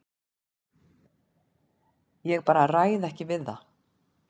Ég bara ræð ekki við það.